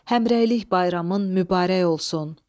Həmrəylik bayramın mübarək olsun.